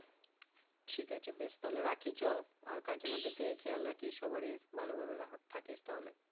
ঠিক আছে বেশ তাহলে রাখি চল আর কাকিমাদেরকে খেয়াল রাখিস সবারই ভালোভাবে থাকিস তাহলে।